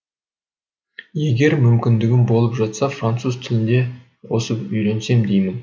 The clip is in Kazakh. егер мүмкіндігім болып жатса француз тілінде қосып үйренсем деймін